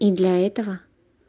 и для этого